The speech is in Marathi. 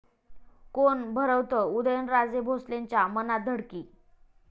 कोण भरवतं उदयनराजे भोसलेंच्या मनात धडकी?